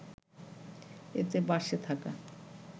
এতে বাসে থাকা